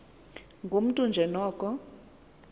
ngumntu nje noko